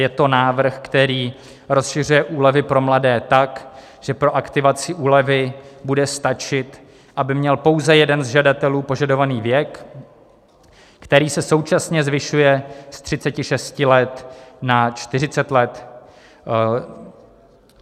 Je to návrh, který rozšiřuje úlevy pro mladé tak, že pro aktivaci úlevy bude stačit, aby měl pouze jeden z žadatelů požadovaný věk, který se současně zvyšuje z 36 let na 40 let.